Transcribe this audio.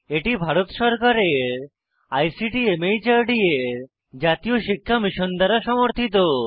এটি ভারত সরকারের আইসিটি মাহর্দ এর জাতীয় শিক্ষা মিশন দ্বারা সমর্থিত